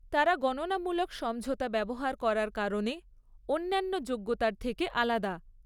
তারা গণনামূলক সমঝোতা ব্যবহার করার কারণে অন্যান্য যোগ্যতার থেকে আলাদা।